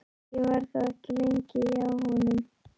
Ég var þó ekki lengi hjá honum.